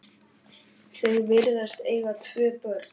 Þau virðast eiga tvö börn.